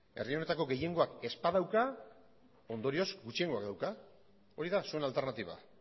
herri honetako gehiengoak ez badauka ondorioz gutxiengoak dauka hori da zuen alternatiba